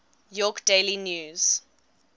york daily news